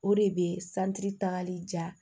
O de bɛ santiri tagali jan